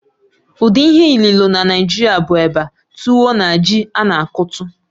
Ụdị ihe ilìlo na Naijiria bụ eba, tuwo, na ji a na-akụtu.